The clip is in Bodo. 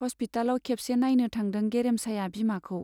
हस्पितालाव खेबसे नाइनो थांदों गेरेमसाया बिमाखौ।